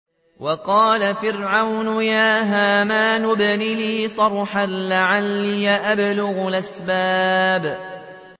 وَقَالَ فِرْعَوْنُ يَا هَامَانُ ابْنِ لِي صَرْحًا لَّعَلِّي أَبْلُغُ الْأَسْبَابَ